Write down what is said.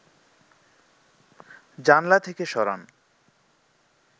জানলা থেকে সরান